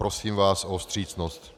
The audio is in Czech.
Prosím vás o vstřícnost.